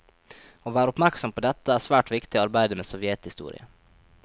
Å være oppmerksom på dette, er svært viktig i arbeidet med sovjethistorie.